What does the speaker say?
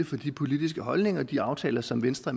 for de politiske holdninger og de aftaler som venstre